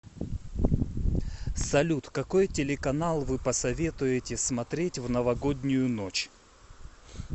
салют какой телеканал вы посоветуете смотреть в новогоднюю ночь